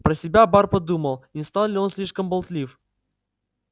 про себя бар подумал не стал ли он слишком болтлив